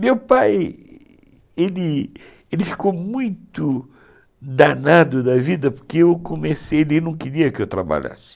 Meu pai, ele ele ficou muito danado da vida, porque eu comecei, ele não queria que eu trabalhasse.